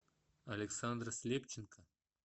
александр слепченко